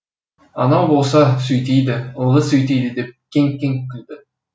анау болса сөйтеді ылғи сөйтеді деп кеңк кеңк күлді